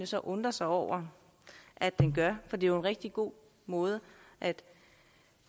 så undre sig over at den gør for det er jo en rigtig god måde at